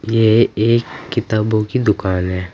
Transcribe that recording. ये एक किताबों की दुकान है।